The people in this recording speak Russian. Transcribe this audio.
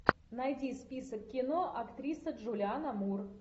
найди список кино актриса джулиана мур